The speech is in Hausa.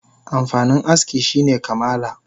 Amfanin aski shine kamala